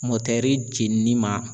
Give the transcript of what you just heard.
Motɛri jenini ma.